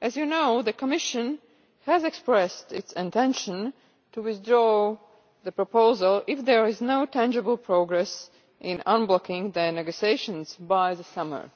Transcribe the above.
As you know, the Commission has expressed its intention to withdraw the proposal if there is no tangible progress on unblocking the negotiations by the summer.